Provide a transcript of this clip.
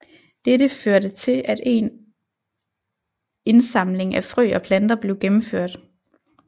Dette førte til en at en indsamling af frø og planter blev gennemført